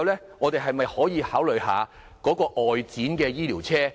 此外，政府可否考慮一下外展醫療車？